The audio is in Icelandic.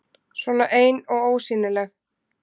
Svona ein og ósýnileg.